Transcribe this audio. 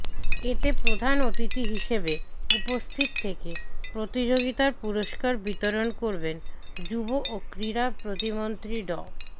এতে প্রধান অতিথি হিসেবে উপস্থিত থেকে প্রতিযোগিতার পুরস্কার বিতরণ করবেন যুব ও ক্রীড়া প্রতিমন্ত্রী ড